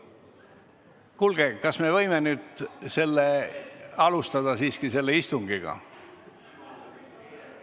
Kuulge, kas me võime nüüd seda istungit alustada?